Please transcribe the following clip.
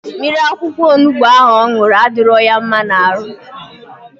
Mmiri akwụkwọ onubu ahụ ọ ṅụrụ adịrọ ya mma n'ahụ.